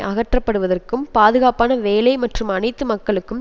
அகற்றப்படுவதற்கும் பாதுகாப்பான வேலை மற்றும் அனைத்து மக்களுக்கும்